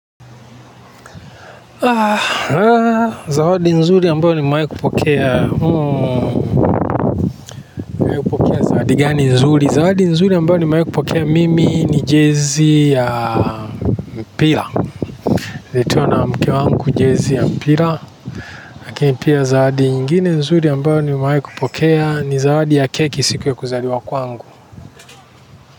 Zawadi nzuri ambayo nimewahi kupokea mimi ni jezi ya mpira. Nililetewa na mke wangu jezi ya mpira zawadi nyingine nzuri ambayo nimawehi kupokea, ni zawadi ya keki siku ya kuzaliwa kwangu.